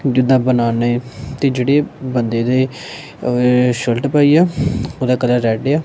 ਜਿਦਾਂ ਬਣਾਨੇ ਤੇ ਜਿਹੜੇ ਬੰਦੇ ਦੇ ਸ਼ਰਟ ਪਾਈ ਆ ਉਹਦਾ ਕਲਰ ਰੈਡ ਆ।